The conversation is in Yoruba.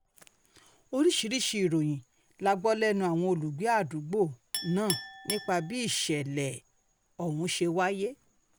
oríṣiríṣiì ìròyìn la gbọ́ lẹ́nu àwọn olùgbé àdúgbò um náà nípa bí ìṣẹ̀lẹ̀ um ọ̀hún ṣe wáyé